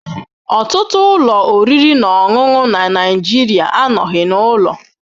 Ọtụtụ ụlọ oriri na ọṅụṅụ na Nigeria anọghị n'ụlọ.